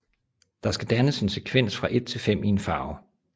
Der skal dannes en sekvens fra 1 til 5 i en farve